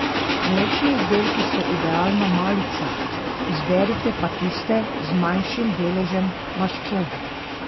Mlečni izdelki so idealna malica, izberite pa tiste z manjšim deležem maščobe.